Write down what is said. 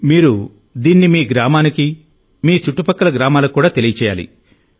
మీరు దీన్ని మీ గ్రామానికి మీ చుట్టుపక్కల గ్రామాలకు కూడా తెలియజేయాలి